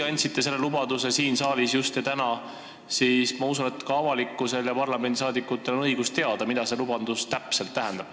Ja kui te just täna ja siin saalis selle lubaduse andsite, siis ma usun, et parlamendiliikmetel ja kogu avalikkusel on õigus teada, mida see lubadus täpselt tähendab.